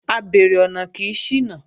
Abeèrè ọ̀nà kì í ṣìnà